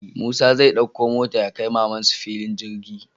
Musa zai ɗakko mota yakai mamansu fillin girgi